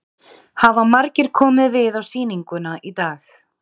Hafa margir komið við á sýninguna í dag?